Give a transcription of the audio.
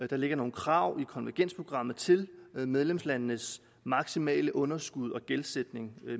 der ligger nogle krav i konvergensprogrammet til medlemslandenes maksimale underskud og gældsætning